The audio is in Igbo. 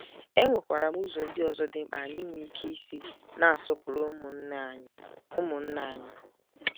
E nwekwara ụzọ ndị ọzọ dị mkpa anyị nwere ike isi na-asọpụrụ ụmụnna anyị ụmụnna anyị.